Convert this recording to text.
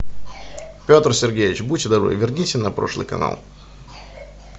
петр сергеевич будьте добры верните на прошлый канал